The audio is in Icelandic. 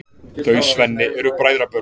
Þau Svenni eru bræðrabörn.